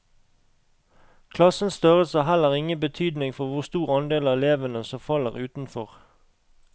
Klassens størrelse har heller ingen betydning for hvor stor andel av elevene som faller utenfor.